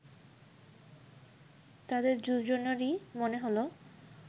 তাদের দুজনারই মনে হল